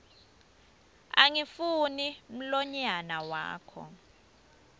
angifuni mlonyana wakho